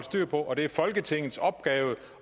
styr på og det er folketingets opgave